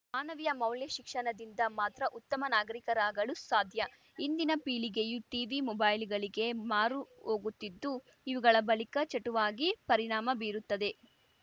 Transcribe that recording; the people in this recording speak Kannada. ಮಾನವೀಯ ಮೌಲ್ಯ ಶಿಕ್ಷಣದಿಂದ ಮಾತ್ರ ಉತ್ತಮ ನಾಗರಿಕರಾಗಲು ಸಾಧ್ಯ ಇಂದಿನ ಪೀಳಿಗೆಯು ಟಿವಿ ಮೊಬೈಲುಗಳಿಗೆ ಮಾರು ಹೋಗುತ್ತಿದ್ದು ಇವುಗಳ ಬಳಕ ಚಟುವಾಗಿ ಪರಿಣಾಮ ಬೀರುತ್ತದೆ